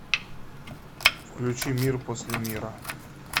включи мир после мира